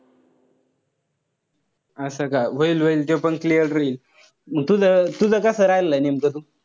असं का. होईल-होईल ते पण clear होईल. मंग तुझं तुझा कस राहिलेलं नेमकं?